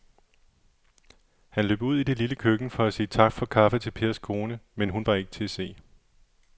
Han løb ud i det lille køkken for at sige tak for kaffe til Pers kone, men hun var ikke til at se.